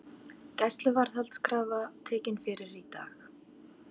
Gæsluvarðhaldskrafa tekin fyrir í dag